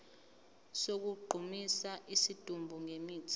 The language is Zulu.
sokugqumisa isidumbu ngemithi